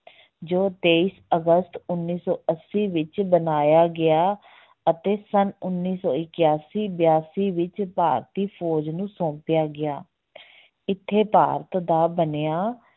ਜੋ ਤੇਈਸ ਅਗਸਤ ਉੱਨੀ ਸੌ ਅੱਸੀ ਵਿੱਚ ਬਣਾਇਆ ਗਿਆ ਅਤੇ ਸੰਨ ਉੱਨੀ ਸੌ ਇਕਆਸੀ ਬਿਆਸੀ ਵਿੱਚ ਭਾਰਤੀ ਫੌਜ ਨੂੰ ਸੌਂਪਿਆ ਗਿਆ ਇੱਥੇ ਭਾਰਤ ਦਾ ਬਣਿਆ